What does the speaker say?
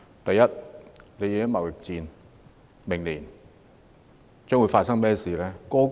第一，在貿易戰下，明年將會發生甚麼事呢？